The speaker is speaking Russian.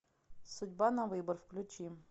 судьба на выбор включи